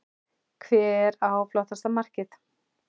Hver á flottasta markið?